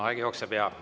Aeg jookseb, jaa.